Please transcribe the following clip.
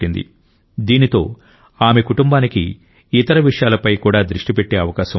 దీంతో ఆమె కుటుంబానికి ఇతర విషయాలపై కూడా దృష్టి పెట్టే అవకాశం వచ్చింది